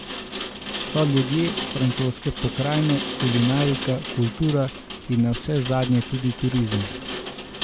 So ljudje, francoske pokrajine, kulinarika, kultura in navsezadnje tudi turizem.